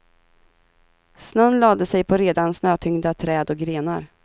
Snön lade sig på redan snötyngda träd och grenar.